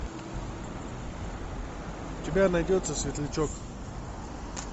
у тебя найдется светлячок